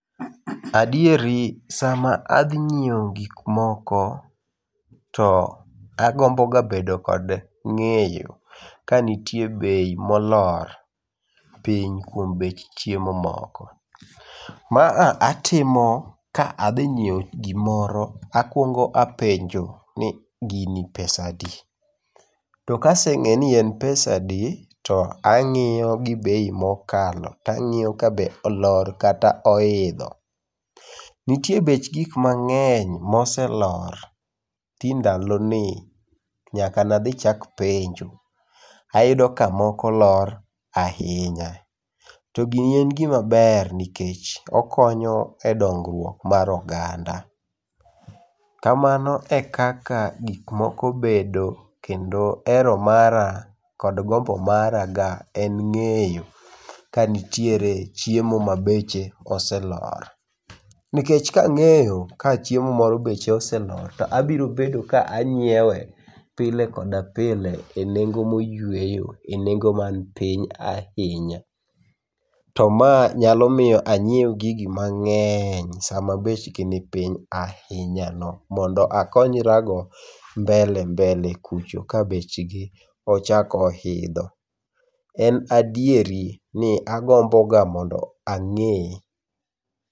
Adieri sama adhi nyiewo gik moko, to agomboga bedo kod ng'eyo kanitie bei molor piny kuom bech chiemo moko. Ma a atimo kadhi ng'iewo gimoro, akuongo apenjo ni gini pesadi. To kaseng'eyo ni en pesadi to ang'iyo gi bei mokalo, tang'iyo kabe olor kata oidho. Nitie bech gik mang'eny moselor ti ndaloni, nyaka nadhi chak penjo, ayudo ka moko olor ahinya. To gini en gima ber, nikech okonyo edongruok mar oganda. Kamano e kaka gik moko bedo kendo hero mara kod gombo maraga en ng'eyo kanitiere chiemo ma beche oselor. Nikech kang'eyo ka chiemo moro beche oselor, to abiro bedo ka ang'iewe pile koda pile enengo moyueyo, nengo man piny ahinya. To ma nyalo miyo anyiew gigi mang'eny sama bechgi nipiny ahinyano mondo akonyrago mbele mbele kucho kabechgi ochako oidho. En adieri ni agomboga mondo ang'e.